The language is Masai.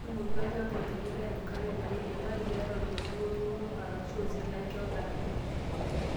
Tuunoki olchamba onyikita enkare teneidimayu. Keetae orkeju, olturoto arashu osilanke otaana?